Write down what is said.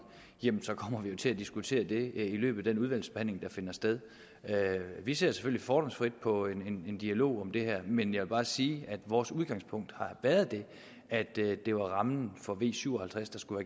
jamen så kommer vi jo til at diskutere det i løbet af den udvalgsbehandling der skal finde sted vi ser selvfølgelig fordomsfrit på en dialog om det her men jeg vil bare sige at vores udgangspunkt har været at det var rammen for v syv og halvtreds der skulle